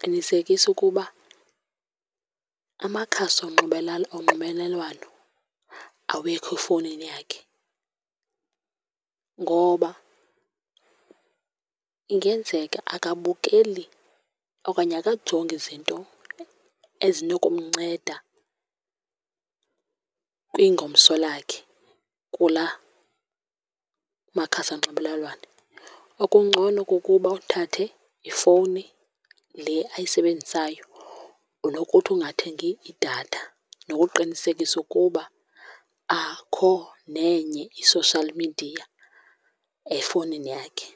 qinisekisa ukuba amakhasi onxibelelwano awekho efowunini yakhe. Ngoba ingenzeka akabukeli okanye akajongi izinto ezinokumnceda kwingomso lakhe kula makhasi onxibelelwano. Okungcono kukuba uthathe ifowuni le ayisebenzisayo nokuthi ungathengi idatha nokuqinisekisa ukuba akho nenye i-social media efowunini yakhe.